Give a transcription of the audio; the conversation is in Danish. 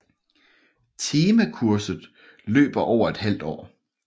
Temakurset løber over et halvt år